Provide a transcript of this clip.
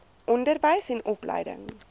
onderwys en opleiding